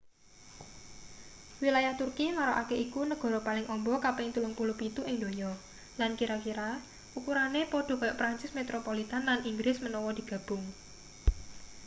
wilayah turki marakake iku negara paling amba kaping 37 ing donya lan kira-kira ukurane padha kaya prancis metropolitn lan inggris menawa digabung